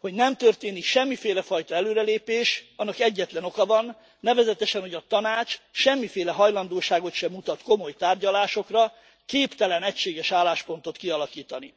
Hogy nem történik semmiféle fajta előrelépés, annak egyetlen oka van, nevezetesen, hogy a Tanács semmiféle hajlandóságot sem mutat komoly tárgyalásokra, képtelen egységes álláspontot kialakítani.